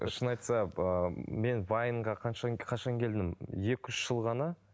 шын айтса ыыы мен вайнға қанша қашан келдім екі үш жыл ғана